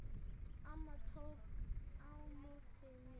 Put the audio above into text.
Amma tók á móti mér.